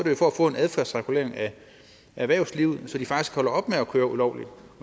jo for at få en adfærdsregulering af erhvervslivet så de faktisk holder op med at køre ulovligt